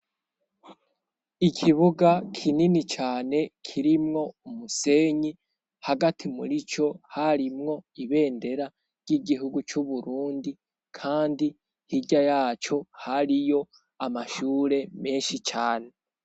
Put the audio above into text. Ikibuga kinini cane kirimwo umusenyi, hagati muri co harimwo ibendera ry'igihugu c'Uburundi; kandi hirya yaco hariyo amashure menshi cane.